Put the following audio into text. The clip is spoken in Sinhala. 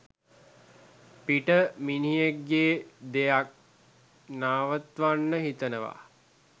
පිට මිනිහෙක්ගේ දෙයක් නවත්වනන් හිතනවා.